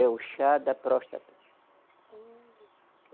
É o chá da próstata. Hum.